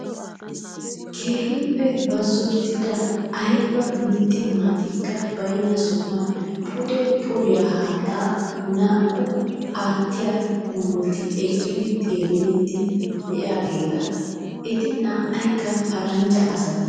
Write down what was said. Keehippe bazzottida ayiba mitti maatikka bayinna sohan pude poriyaa haatta naa'u aati qoometti eqqidi xeelliiddi diyaageeta. Eti naa'ayikka paranjja asata.